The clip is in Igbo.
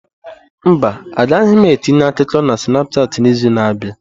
Mba, agaghị m etinye akụkọ na Snapushat n'izu na-abịa.